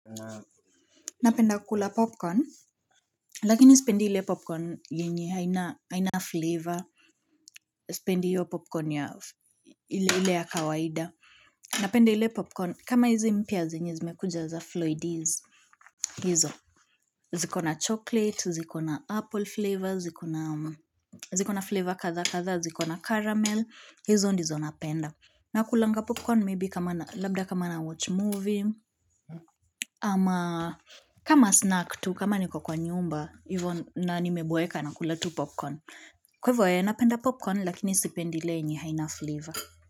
Napenda kula popcorn, lakini sipendi ile popcorn yenye haina flavor, spendi hiyo popcorn ya, ile ya kawaida. Napenda ile popcorn, kama hizi mpya zenye zimekuja za Floydies, hizo. Ziko na chocolate, zikona apple flavor, ziko na flavor kadhaa kadhaa, ziko na caramel, hizo ndizo napenda. Nakulanga popcorn maybe kama na, labda kama nawatch movie, ama kama snack tu, kama niko kwa nyumba, na nimeboeka nakula tu popcorn. Kwa hivo eeh napenda popcorn lakini sipendi ile yenye haina flavour.